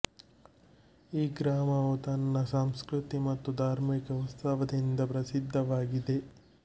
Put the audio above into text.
ಈ ಗ್ರಾಮವು ತನ್ನ ಸಂಸ್ಕೃತಿ ಮತ್ತು ಧಾರ್ಮಿಕ ಉತ್ಸಾವದಿಂದ ಪ್ರಸಿದ್ಧವಾಗಿದೆ